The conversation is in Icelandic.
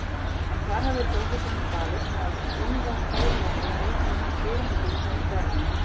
En hvar hafði prófessorinn dvalist, meðan Úlfar Þórðarson leitaði hans dyrum og dyngjum í Berlín?